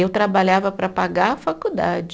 Eu trabalhava para pagar a faculdade.